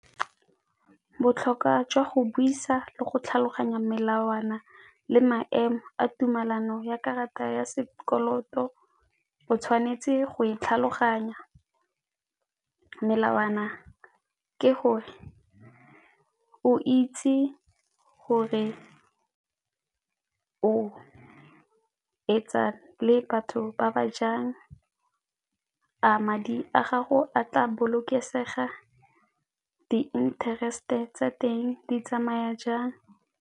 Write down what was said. Botlhokwa jwa go buisa le go tlhaloganya melawana le maemo a tumelano ya karata ya sekoloto, o tshwanetse go e tlhaloganya melawana ke gore o itse gore o etsa le batho ba ba jang, a madi a gago a tla bolokesega, di-interest-e tsa teng di tsamaya jang?